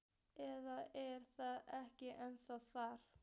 Eða er það ekki ennþá þannig?